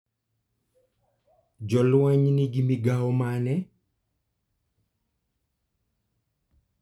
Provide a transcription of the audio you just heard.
Jolweny nigi migawo mane?